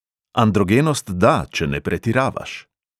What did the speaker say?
Androgenost da, če ne pretiravaš.